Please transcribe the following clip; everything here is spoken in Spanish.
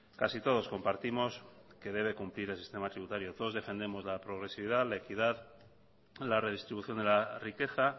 casi todos compartimos que debe cumplir el sistema tributario todos defendemos la progresividad la equidad la redistribución de la riqueza